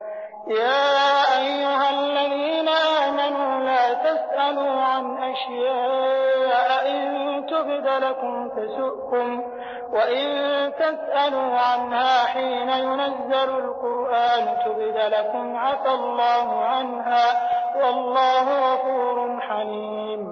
يَا أَيُّهَا الَّذِينَ آمَنُوا لَا تَسْأَلُوا عَنْ أَشْيَاءَ إِن تُبْدَ لَكُمْ تَسُؤْكُمْ وَإِن تَسْأَلُوا عَنْهَا حِينَ يُنَزَّلُ الْقُرْآنُ تُبْدَ لَكُمْ عَفَا اللَّهُ عَنْهَا ۗ وَاللَّهُ غَفُورٌ حَلِيمٌ